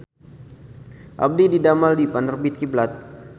Abdi didamel di Penerbit Kiblat